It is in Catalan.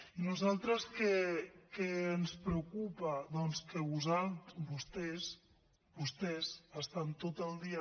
i a nosaltres què ens preocupa doncs que vostès vostès estan tot el dia